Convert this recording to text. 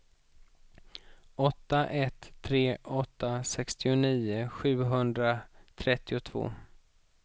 åtta ett tre åtta sextionio sjuhundratrettiotvå